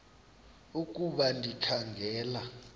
ukuba ndikha ngela